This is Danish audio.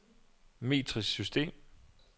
metrisk system